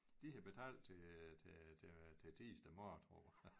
De havde betalt til til til til tirsdag morgen tror jeg